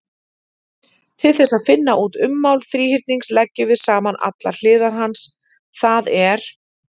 Til þess að finna út ummál þríhyrnings leggjum við saman allar hliðar hans, það er: